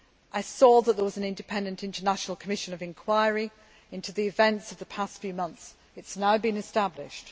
I saw that an independent international commission of inquiry into the events of the past few months has now been established.